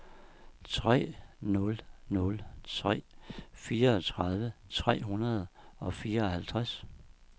tre nul nul tre fireogtredive tre hundrede og fireoghalvtreds